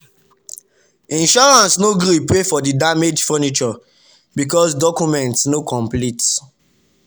insurance no gree pay for the damaged furniture because documents no complete.